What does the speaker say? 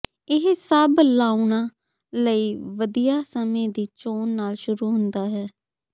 ਇਹ ਸਭ ਲਾਉਣਾ ਲਈ ਵਧੀਆ ਸਮੇਂ ਦੀ ਚੋਣ ਨਾਲ ਸ਼ੁਰੂ ਹੁੰਦਾ ਹੈ